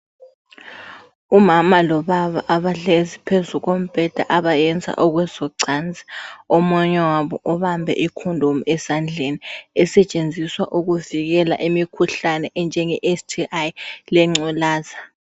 Umama lobaba abahlezi phezu kombheda abayenza ekwezocansi, omunye wabo ubambe icondom esandleni esetshenziswa kumikhuhlane enjenge sti lengculaza.